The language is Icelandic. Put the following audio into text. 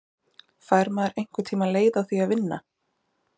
Fær maður einhvern tíma leið á því að vinna?